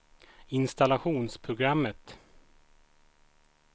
installationsprogrammet